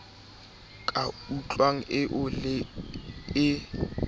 ka tlung eo le e